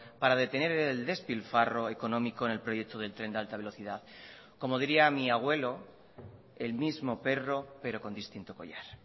para detener el despilfarro económico en el proyecto del tren de alta velocidad como diría mi abuelo el mismo perro pero con distinto collar